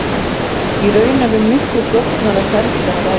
Í raun er um miklu flóknara ferli að ræða.